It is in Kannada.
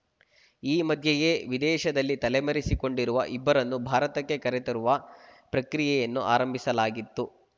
ಈ ಮಧ್ಯೆಯೇ ವಿದೇಶದಲ್ಲಿ ತಲೆಮರೆಸಿಕೊಂಡಿರುವ ಇಬ್ಬರನ್ನು ಭಾರತಕ್ಕೆ ಕರೆತರುವ ಪ್ರಕ್ರಿಯೆಯನ್ನು ಆರಂಭಿಸಲಾಗಿತ್ತು